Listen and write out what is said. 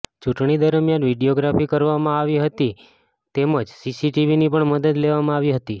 ચૂંટણી દરમિયાન વિડિયોગ્રાફી કરવામાં આવી હતી તેમજ સીસીટીવીની પણ મદદ લેવામાં આવી હતી